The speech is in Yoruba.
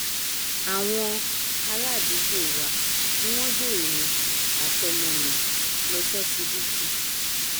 àwọn àràádúgbò wa ni wọn gbé èmi àtọmọ mi lọ ṣọsibítù